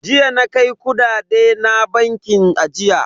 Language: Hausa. Jiya na kai kudade na bankin ajiya.